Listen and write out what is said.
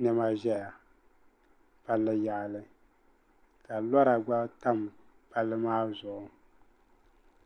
niɛma ʒɛya palli yaɣali ka lora gba tam palli maa zuɣu